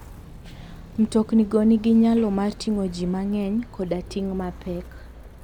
Mtoknigo nigi nyalo mar ting'o ji mang'eny koda ting' mapek.